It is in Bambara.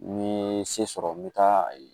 N ye se sɔrɔ n bɛ taa yen